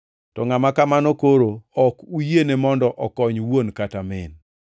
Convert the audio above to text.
to ngʼama kamano koro ok uyiene mondo okony wuon kata min.